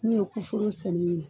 N'u ye ku foro sɛnɛ ɲinan.